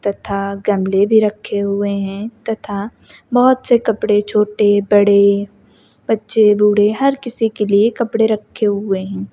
तथा गमले भी रखें हुए हैं तथा बहोत से कपड़े छोटे बड़े बच्चे बूढ़े हर किसी के लिए कपड़े रखे हुए हैं।